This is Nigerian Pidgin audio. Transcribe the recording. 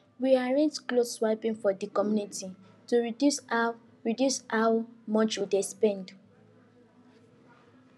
we arrange cloth swapping for the community to reduce how reduce how much we dey spend